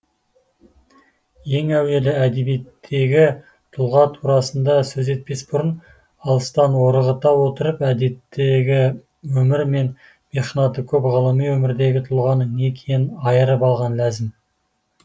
ең әуелі әдебиеттегі тұлға турасында сөз етпес бұрын алыстан орғыта отырып әдеттегі өмірі мен мехнаты көп ғылыми өмірдегі тұлғаның не екенің айырып алған ләзім